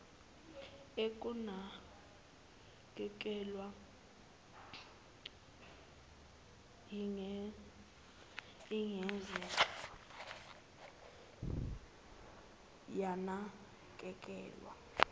ekunakekelweni ingeze yanakekelwa